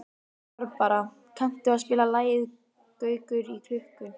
Barbara, kanntu að spila lagið „Gaukur í klukku“?